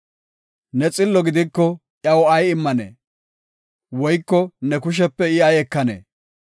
Ne xillo gidiko iyaw ay immanee? Woyko ne kushepe I ay ekanee?